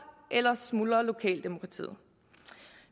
ellers smuldrer lokaldemokratiet